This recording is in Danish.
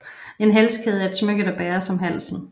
En halskæde er et smykke der bæres om halsen